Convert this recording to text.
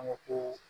An ka ko